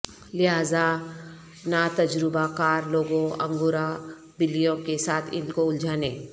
لہذا ناتجربہ کار لوگوں انگورا بلیوں کے ساتھ ان کو الجھانے